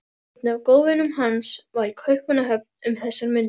Einn af góðvinum hans var í Kaupmannahöfn um þessar mundir.